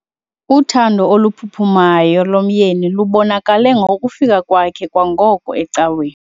Uthando oluphuphumayo lomyeni lubonakale ngokufika kwakhe kwangoko ecaweni.